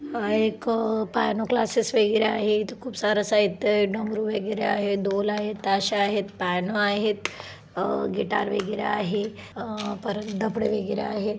हा एक piano classes वगैरे आहे इथ खूप सार साहित्य आहे डमरू वगैरे आहे डोल आहेत ताशा आहेत प्यानो आहेत अ गिटार वगैरे आहे अ परत डफडे वगैरे आहे.